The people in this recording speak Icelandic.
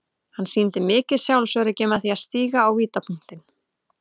Hann sýndi mikið sjálfsöryggi með því að stíga á vítapunktinn.